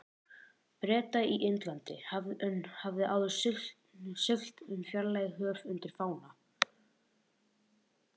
Breta í Indlandi, hafði áður siglt um fjarlæg höf undir fána